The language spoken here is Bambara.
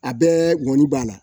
A bɛɛ ŋɔni b'a la